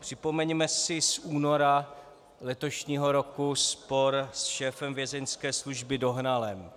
Připomeňme si z února letošní roku spor se šéfem Vězeňské služby Dohnalem.